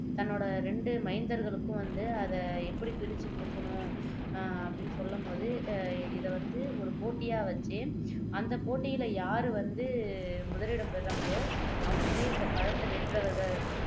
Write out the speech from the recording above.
தன்னோட இரண்டு மைந்தர்களுக்கும் வந்து அதை எப்படி பிரிச்சு குடுக்கணும் அஹ் அப்படின்னு சொல்லும் பொழுது அஹ் இதை வந்து ஒரு போட்டியா வச்சு அந்த போட்டியில யாரு வந்து முதலிடம் பெறாங்களோ அவங்களே இந்த பழத்தை வென்றவர்கள்